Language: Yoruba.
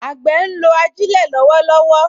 Àgbẹ̀ ń lo ajílẹ̀ lọ́wọ́lọ́wọ́